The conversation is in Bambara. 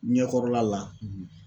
Ɲɛkɔrɔla la